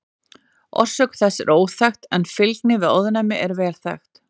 Orsök þess er óþekkt en fylgni við ofnæmi er vel þekkt.